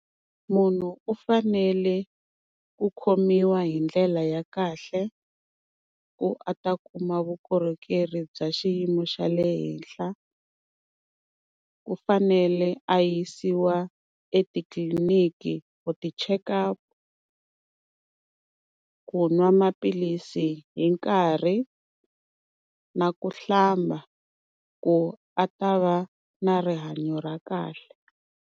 Munhu u fanele ku khomiwa hi ndlela ya kahle, ku a ta kuma vukorhokeri bya xiyimo xa le henhla, ku fanele a yisiwa etitliliniki ku ti cheka, ku n'wa maphilisi hi nkarhi na ku hlamba ku a ta va na rihanyo ra kahle.